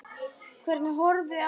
Hvernig horfði atvikið við Halli?